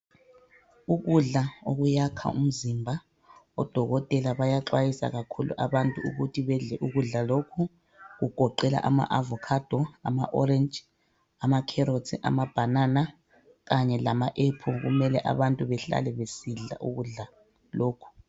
Ukudla okuyakha umzimba. Odokotela bayaxwayisa kakhulu abantu ukuthi badle ukudla lokhu okugoqela ama avocado, ama orange, amacarrots, amabanana kanye lama apple kumele abantu behlale besidla ukudla lokhu.